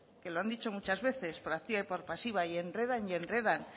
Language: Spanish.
que lo han dicho muchas veces por activa y por pasiva y enredan y enredan